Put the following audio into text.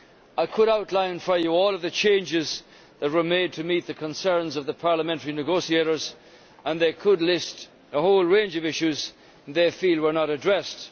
I could outline for you all the changes that were made to meet the concerns of the parliamentary negotiators, and they could list a whole range of issues which they feel were not addressed.